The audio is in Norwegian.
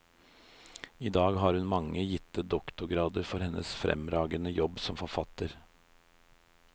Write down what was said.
I dag har hun mange gitte doktorgrader for hennes fremragende jobb som forfatter.